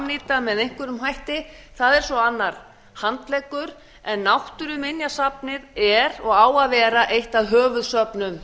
samnýta með einhverjum hætti það er svo annar handleggur en náttúruminjasafnið er og á að vera eitt af höfuðsöfnum